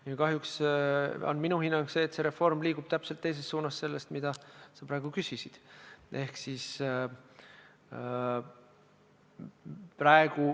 Minu hinnang on kahjuks see, et see reform liigub täpselt teises suunas sellest, mida sa praegu küsisid.